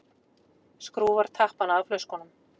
Skrúfar tappana af flöskunum.